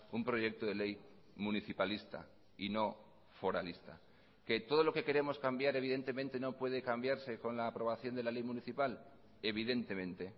un proyecto de ley municipalista y no foralista que todo lo que queremos cambiar evidentemente no puede cambiarse con la aprobación de la ley municipal evidentemente